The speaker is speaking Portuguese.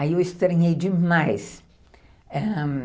Aí eu estranhei demais, ãh...